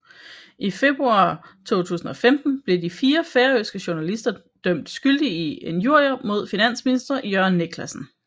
I februar 2015 blev de fire færøske journalister dømt skyldige i injurier mod finansminister Jørgen Niclasen